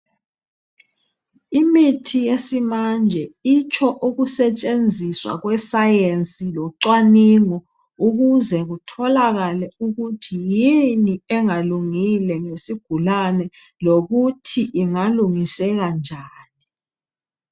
Imithi yesimanje itsho ukusetshenziswa kwe science lo cwamingo ukuze kutholakale ukuthi yini engalungile ngesigulane lokuthi ingalungiseka njani